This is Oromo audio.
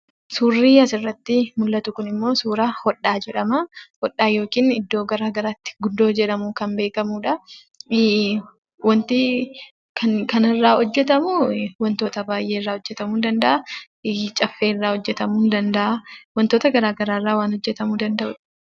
Suurrii asirratti mullatu kunimmoo suura hodhaa jedhama. Hodhaa yookiin iddoo garaa garaatti gundoo jedhamuun kan beekamudha. Wanti kanarraa hojjetamu wantoota baayyeerraa hojjetamuu ni danda'aa. Caffeerraa hojjetamuu ni danda'a. Wantoota garaa garaarraa waan hojjetamuu kan danda'udha.